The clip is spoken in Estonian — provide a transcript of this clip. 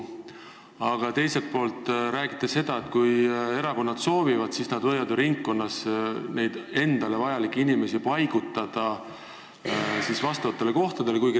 Aga teiselt poolt räägite sellest, et kui erakonnad soovivad, siis nad võivad ringkonnas endale vajalikke inimesi paigutada vastavatele kohtadele.